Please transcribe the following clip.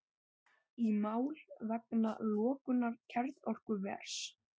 Í mál vegna lokunar kjarnorkuvers